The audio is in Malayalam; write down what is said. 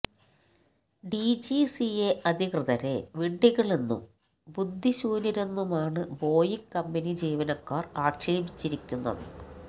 ഡിജിസിഎ അധികൃതരെ വിഡ്ഢികളെന്നും ബുദ്ധിശൂന്യരെന്നുമാണ് ബോയിങ് കമ്പനി ജീവനക്കാർ ആക്ഷേപിച്ചിരിക്കുന്നത്